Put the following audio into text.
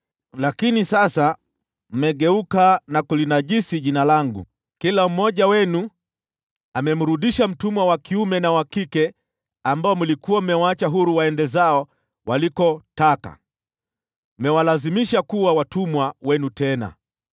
Lakini sasa mmegeuka na kulinajisi jina langu. Kila mmoja wenu amemrudisha mtumwa wa kiume na wa kike ambao mlikuwa mmewaacha huru waende zao walikotaka. Mmewalazimisha kuwa watumwa wenu tena.